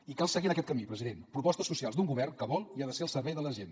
i cal seguir en aquest camí president propostes socials d’un govern que vol i ha d’estar al servei de la gent